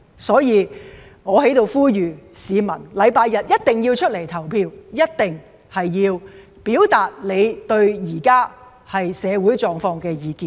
所以，我在此呼籲市民，周日一定要出來投票，一定要表達對社會現況的意見。